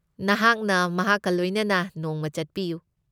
ꯅꯍꯥꯛꯅ ꯃꯍꯥꯛꯀ ꯂꯣꯏꯅꯅ ꯅꯣꯡꯃ ꯆꯠꯄꯤꯌꯨ꯫